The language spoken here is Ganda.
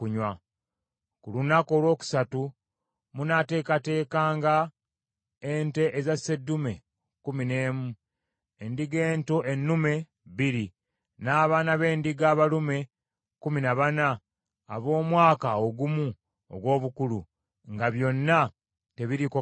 “Ku lunaku olwokusatu munaateekateekanga ente eza sseddume kkumi n’emu, endiga ento ennume bbiri, n’abaana b’endiga abalume kkumi na bana ab’omwaka ogumu ogw’obukulu; nga byonna tebiriiko kamogo.